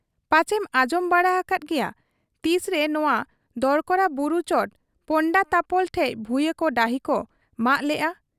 ᱯᱟᱪᱮᱢ ᱟᱸᱡᱚᱢ ᱵᱟᱲᱟ ᱟᱠᱟᱫ ᱜᱮᱭᱟ ᱾ ᱛᱤᱥᱨᱮ ᱱᱚᱣᱟ ᱫᱚᱨᱠᱚᱲᱟ ᱵᱩᱨᱩ ᱪᱚᱴ ᱯᱚᱱᱰᱟᱛᱟᱯᱚᱞ ᱴᱷᱮᱫ ᱵᱷᱩᱭᱟᱺᱠᱚ ᱰᱟᱹᱦᱤᱠᱚ ᱢᱟᱜ ᱞᱮᱜ ᱟ ᱾